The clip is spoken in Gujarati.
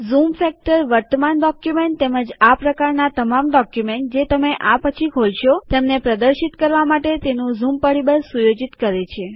ઝૂમ ફેક્ટર વર્તમાન ડોક્યુમેન્ટ તેમજ આ પ્રકારનાં તમામ ડોક્યુમેન્ટ જે તમે આ પછી ખોલશો તેમને પ્રદર્શિત કરવા માટે તેનું ઝૂમ પરીબળ સુયોજિત કરે છે